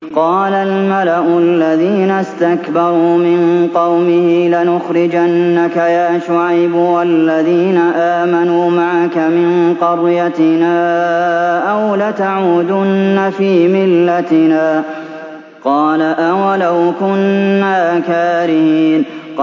۞ قَالَ الْمَلَأُ الَّذِينَ اسْتَكْبَرُوا مِن قَوْمِهِ لَنُخْرِجَنَّكَ يَا شُعَيْبُ وَالَّذِينَ آمَنُوا مَعَكَ مِن قَرْيَتِنَا أَوْ لَتَعُودُنَّ فِي مِلَّتِنَا ۚ قَالَ أَوَلَوْ كُنَّا كَارِهِينَ